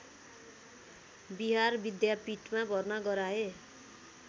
बिहार विद्यापीठमा भर्ना गराए